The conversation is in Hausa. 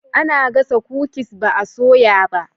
Ana gasa kukis ba a soya ba.